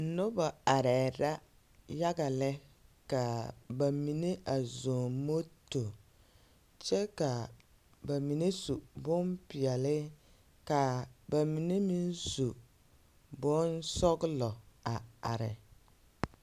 Noba arɛɛ la yaga lɛ ka a ba mine zɔŋ moto, kyɛ ka bamine su bompeɛle ka ba mine meŋ su bonsɔglɔ.